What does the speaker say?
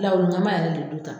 Lawulinkama yɛrɛ de don tan.